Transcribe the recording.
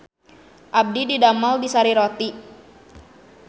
Abdi didamel di Sari Roti